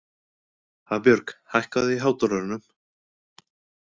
Hafbjörg, hækkaðu í hátalaranum.